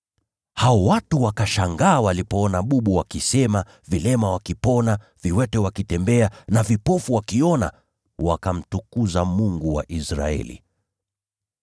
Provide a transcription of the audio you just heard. Hao watu wakashangaa walipoona bubu wakisema, vilema wakipona, viwete wakitembea na vipofu wakiona, wakamtukuza Mungu wa Israeli.